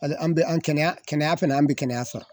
An bɛ an kɛnɛya kɛnɛya fana an bɛ kɛnɛya sɔrɔ